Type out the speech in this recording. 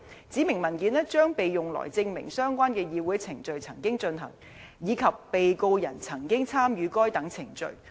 指明文件將被用來證明相關的議會程序曾經進行，以及被告人曾經參與該等程序。